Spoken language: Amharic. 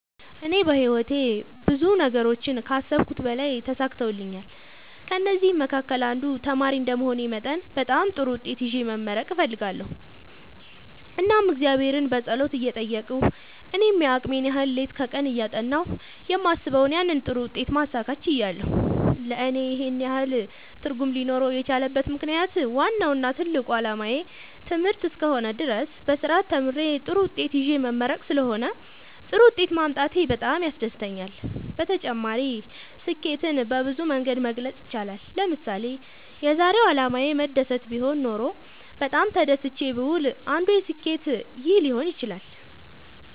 እኔ በህይወቴ ብዙ ነገሮችን ከአሰብሁት በላይ ተሳክተውልኛል ከእነዚህም መካከል አንዱ ተማሪ እንደመሆኔ መጠን በጣም ጥሩ ውጤት ይዤ መመረቅ እፈልጋለሁ እናም እግዚአብሔርን በጸሎት እየጠየቅሁ እኔም የአቅሜን ያህል ሌት ከቀን እያጠናሁ የማስበውን ያንን ጥሩ ውጤት ማሳካት ችያለሁ ለእኔ ይህን ያህል ትርጉም ሊኖረው የቻለበት ምክንያት ዋናው እና ትልቁ አላማዬ ትምህርት እስከ ሆነ ድረስ በስርአት ተምሬ ጥሩ ውጤት ይዤ መመረቅ ስለሆነ ጥሩ ውጤት ማምጣቴ በጣም ያስደስተኛል። በተጨማሪ ስኬትን በብዙ መንገድ መግለፅ ይቻላል ለምሳሌ የዛሬው አላማዬ መደሰት ቢሆን ኖሮ በጣም ተደስቼ ብውል አንዱ ስኬት ይህ ሊሆን ይችላል